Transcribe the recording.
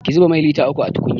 Ki zuba mai lita uku a tukunya!